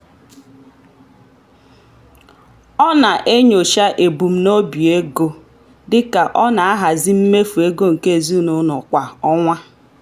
ọ na-enyocha ebumnobi ego dị ka ọ na-ahazi mmefu ego nke ezinụụlọ kwa ọnwa.